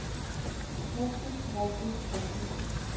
brugte brugte brugte